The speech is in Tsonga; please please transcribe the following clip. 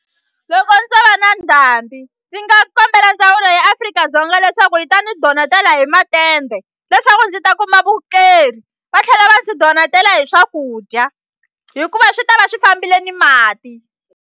Loko ndzo va na ndhambi ndzi nga kombela ndzawulo ya Afrika-Dzonga leswaku yi ta ni donetela hi matende leswaku ndzi ta kuma va tlhela va ndzi donetela hi swakudya hikuva swi ta va swi fambile ni mati.